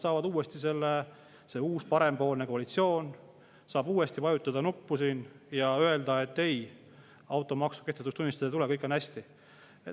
See uus parempoolne koalitsioon saab uuesti vajutada nuppu ja öelda, et ei, automaksu ei tule kehtetuks tunnistada, kõik on hästi.